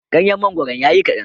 Ganyen mangoron ya yi kaɗan.